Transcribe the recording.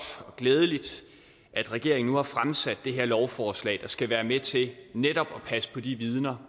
og glædeligt at regeringen nu har fremsat det her lovforslag der skal være med til netop at passe på de vidner